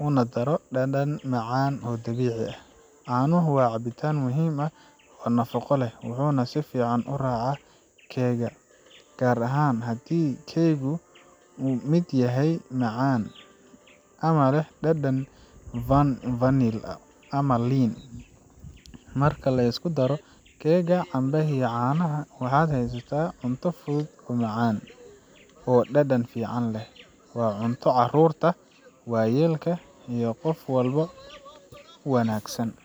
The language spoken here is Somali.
uguna daro dhadhan macaan oo dabiici ah. Caanuhu waa cabitaan muhiim ah oo nafaqo leh, wuxuuna si fiican u raacaa keegga gaar ahaan haddii keeggu yahay mid macaan ama leh dhadhan vanil ama liin. Marka la isku daro keegga, cambaha iyo caanaha, waxaad haysataa cunto fudud, caafimaad leh, oo dhadhan fiican leh. Waa cunto carruurta, waayeelka iyo qof walba u wanaagsan.